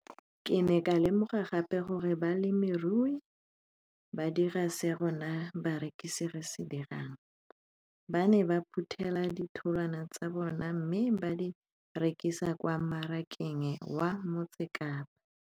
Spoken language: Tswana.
Ke ne ka lemoga gape gore balemirui ba dira seo rona barekisi re se dirang - ba ne ba phuthela ditholwana tsa bona mme ba di rekisa kwa marakeng wa Motsekapa.